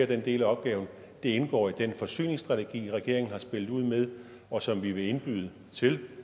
den del af opgaven det indgår i den forsyningsstrategi regeringen har spillet ud med og som vi vil indbyde til